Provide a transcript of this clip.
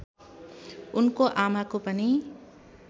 उनको आमाको पनि